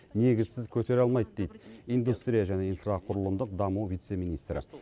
негізсіз көтере алмайды дейді индустрия және инфрақұрылымдық даму вице министрі